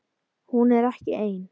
Hún er ekki ein.